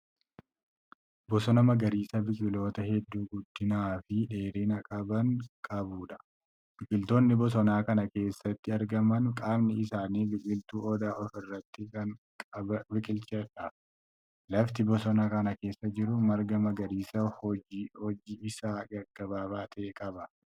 Bosona magariisa biqiltoota hedduu guddinaafi dheerina qaban qabuudha. biqiltoonni bosona Kana keessatti argaman qaamni isaanii biqiltuu odaa ofirratti Kan biqilcheedha. lafti bosona Kana keessa jiru marga magariisa hojji Isaa gaggabaabaa ta'e qaba.